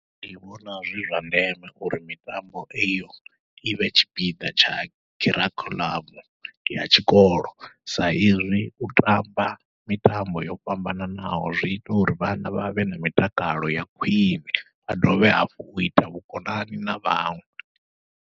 Ndi vhona zwi zwa ndeme uri mitambo iyo ivhe tshipiḓa tsha kharikhuḽamu ya tshikolo, sa izwi u tamba mitambo yo fhambananaho zwi ita uri vhana vha vhe na mitakalo ya khwiṋe, vha dovhe hafhu uita vhukonani na vhaṅwe.